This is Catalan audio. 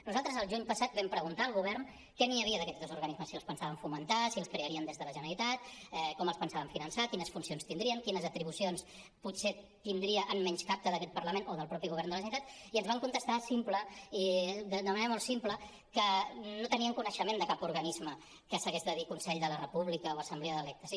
nosaltres el juny passat vam preguntar al govern què hi havia d’aquests dos organismes si els pensaven fomentar si els crearien des de la generalitat com els pensaven finançar quines funcions tindrien quines atribucions potser tindria en menyscapte d’aquest parlament o del mateix govern de la generalitat i ens van contestar d’una manera molt simple que no tenien coneixement de cap organisme que s’hagués de dir consell de la república o assemblea d’electes